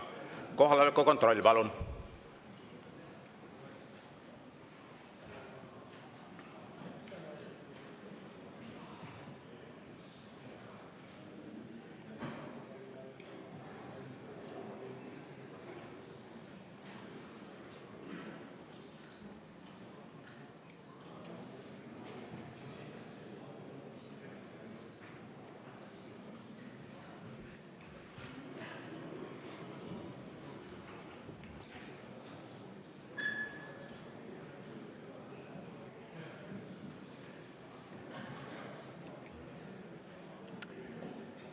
Kohaloleku kontroll, palun!